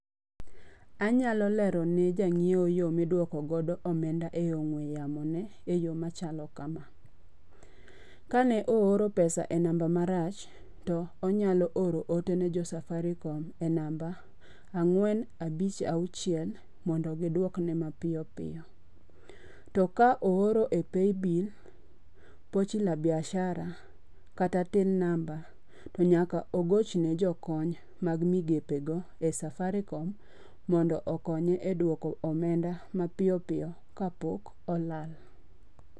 Anyalo lero ne jang'iewo yo miduoko godo omenda e yo ong'we yamo ne e yo machalo kama. Kane ooro pesa e namba marach to onyalo oro ote ne jo Safaricom e namba ang'wen abich aouchiel mondo gidwokne mapiyo piyo. To ka ooro e Pay Bill, Pochi la Biashara kata Till Number to nyaka ogoch ne jokony mag migepe go e Safaricom mondo okonye e dwoko omenda mapiyopiyo ka pok olal.